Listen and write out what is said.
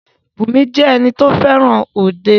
Bùnmi jẹ́ ẹni tí o fẹràn òde.